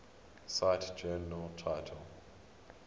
cite journal title